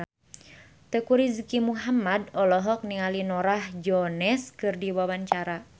Teuku Rizky Muhammad olohok ningali Norah Jones keur diwawancara